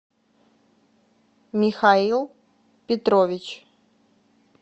михаил петрович